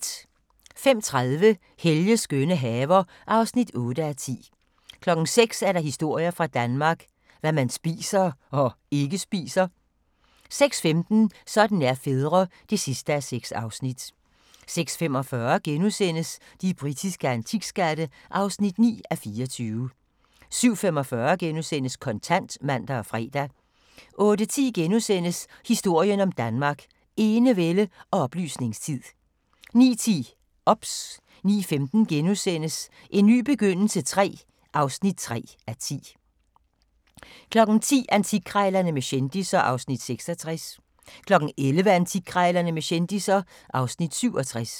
05:30: Helges skønne haver (8:10) 06:00: Historier fra Danmark – Hvad man spiser – og ikke spiser 06:15: Sådan er fædre (6:6) 06:45: De britiske antikskatte (9:24)* 07:45: Kontant *(man og fre) 08:10: Historien om Danmark: Enevælde og oplysningstid * 09:10: OBS 09:15: En ny begyndelse III (3:10)* 10:00: Antikkrejlerne med kendisser (Afs. 66) 11:00: Antikkrejlerne med kendisser (Afs. 67)